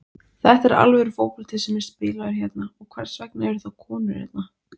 Þetta er alvöru fótbolti sem er spilaður hérna og hvers vegna er þá konur hérna?